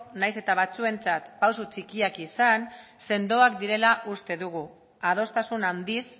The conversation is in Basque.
nahiz eta batzuentzat pausu txikiak izan sendoak direla uste dugu adostasun handiz